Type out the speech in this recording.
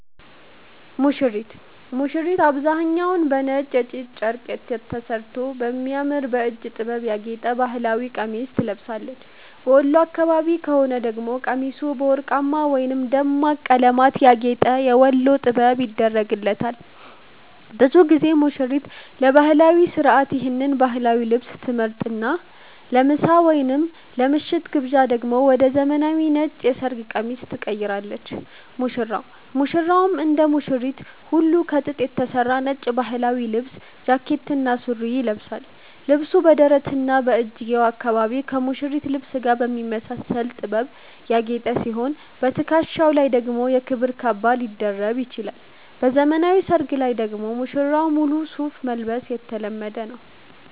ሙሽሪት፦ ሙሽሪት በአብዛኛው በነጭ የጥጥ ጨርቅ ተሠርቶ በሚያምር የእጅ ጥበብ ያጌጠ ባህላዊ ቀሚስ ትለብሳለች። በወሎ አካባቢ ከሆነ ደግሞ ቀሚሱ በወርቅማ ወይም ደማቅ በቀለማት ያጌጠ "የወሎ ጥበብ" ይደረግላታል። ብዙ ጊዜ ሙሽሪት ለባህላዊው ሥርዓት ይህን ባህላዊ ልብስ ትመርጥና፣ ለምሳ ወይም ለምሽቱ ግብዣ ደግሞ ወደ ዘመናዊው ነጭ የሰርግ ቀሚስ ትቀይራለች። ሙሽራው፦ ሙሽራውም እንደ ሙሽሪት ሁሉ ከጥጥ የተሠራ ነጭ ባህላዊ ልብስ (ጃኬትና ሱሪ) ይለብሳል። ልብሱ በደረትና በእጅጌው አካባቢ ከሙሽሪት ልብስ ጋር በሚመሳሰል ጥበብ ያጌጠ ሲሆን፣ በትከሻው ላይ ደግሞ የክብር ካባ ሊደርብ ይችላል። በዘመናዊ ሰርግ ላይ ደግሞ ሙሽራው ሙሉ ሱፍ መልበስ የተለመደ ነው።